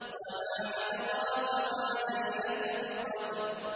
وَمَا أَدْرَاكَ مَا لَيْلَةُ الْقَدْرِ